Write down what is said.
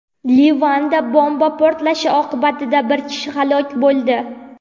Livanda bomba portlashi oqibatida bir kishi halok bo‘ldi.